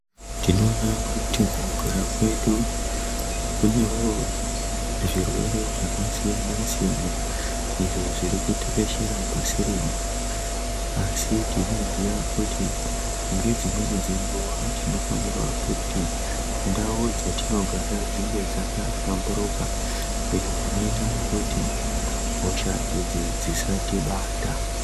Tinoona kuti mukugara kwedu kunewo zvirwere zvakasiyana siyana izvo zviri kutekeshera pasi rino. Asi tinoziya kuti ngedzimweni nguva tinofanirwa kuti ndau dzatinogara dzinge dzakahlamburuka izvo zvinoita kuti hosha idzi dzisatibata.